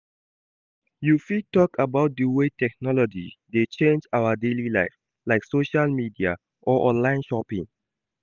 You fit talk about di way technology dey change our daily life, like social media or online shopping.